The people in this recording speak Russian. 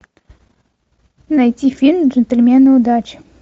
найти фильм джентльмены удачи